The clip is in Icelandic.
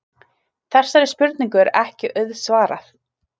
Þessari spurningu er ekki auðsvarað.